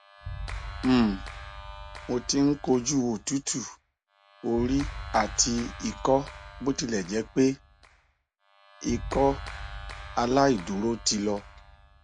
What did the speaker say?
um mo ti n koju otutu ori ati ikọ botilẹjẹpe ikọaláìdúró ti lọ